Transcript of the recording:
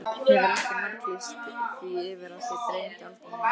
Hefurðu ekki marglýst því yfir að þig dreymi aldrei neitt?